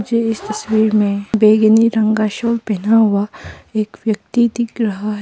मुझे इस तस्वीर में बैगनी रंग का साल पहना हुआ एक व्यक्ति दिख रहा है।